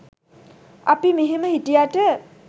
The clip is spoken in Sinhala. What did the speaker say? අපි මෙහෙම හිටියට